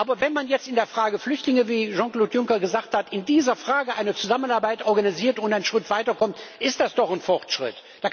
Aber wenn man jetzt in der Frage der Flüchtlinge, wie Jean Claude Juncker gesagt hat, eine Zusammenarbeit organisiert und einen Schritt weiterkommt, ist das doch ein Fortschritt.